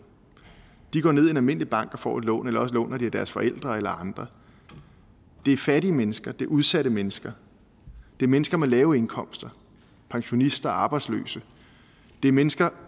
de går ned i en almindelig bank og får et lån eller også låner de af deres forældre eller andre det er fattige mennesker det er udsatte mennesker det er mennesker med lave indkomster pensionister og arbejdsløse det er mennesker